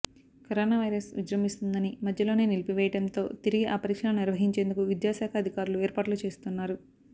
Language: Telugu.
కరోనా వైరస్ విజృంభిస్తోందని మధ్యలోనే నిలిపివేయడంతో తిరిగి ఆ పరీక్షలను నిర్వహించేందుకు విద్యాశాఖ అధికారులు ఏర్పాట్లు చేస్తున్నారు